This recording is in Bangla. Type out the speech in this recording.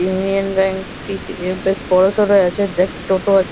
ইউনিয়ন ব্যাঙ্ক টি তে বেশ বড় সরো আছে একটা টোটো আছে।